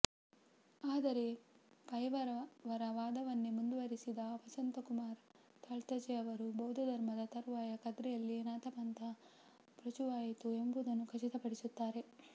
ಆದರೆ ಪೈಯವರ ವಾದವನ್ನೇ ಮುಂದುವರಿಸಿದ ವಸಂತಕುಮಾರ ತಾಳ್ತಜೆ ಅವರು ಬೌದ್ಧ ಧರ್ಮದ ತರುವಾಯ ಕದ್ರಿಯಲ್ಲಿ ನಾಥಪಂಥ ಪ್ರಚುರವಾಯಿತು ಎಂಬುದನ್ನು ಖಚಿತಪಡಿಸುತ್ತಾರೆ